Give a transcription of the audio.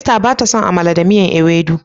Esther ba ta son "amala da miyan ewedu".